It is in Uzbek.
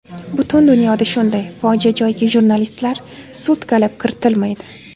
Butun dunyoda shunday, fojia joyiga jurnalistlar sutkalab kiritilmaydi.